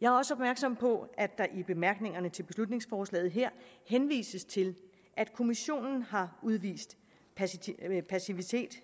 jeg er også opmærksom på at der i bemærkningerne til beslutningsforslaget her henvises til at kommissionen har udvist passivitet